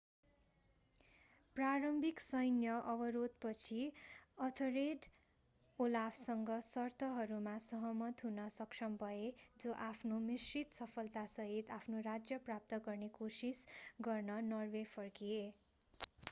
प्रारम्भिक सैन्य अवरोधपछि एथर्रेड ओलाफसँग सर्तहरूमा सहमत हुन सक्षम भए जो आफ्नो मिश्रित सफलतासहित आफ्नो राज्य प्राप्त गर्ने कोसिस गर्न नर्वे फर्किए